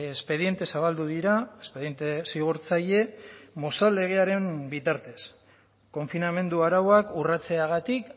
espediente zabaldu dira espediente zigortzaile mozal legearen bitartez konfinamendu arauak urratzeagatik